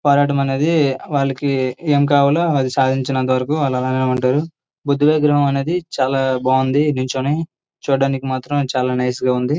పోరాటం అనేది వాళ్ళకి ఏం కావాలో అది సాధించడం సాధించేంతవరకు వాళ్ళు అలానే ఉంటారు. బుద్ధుని విగ్రహం అనేది చాలా బాగుంది నించొని చూడ్డానికి మాత్రం చాలా నైస్ గా ఉంది.